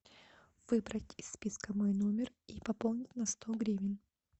выбрать из списка мой номер и пополнить на сто гривен